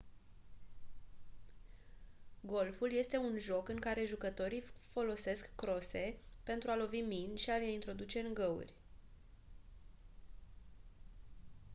golful este un joc în care jucătorii folosesc crose pentru a lovi mingi și a le introduce în găuri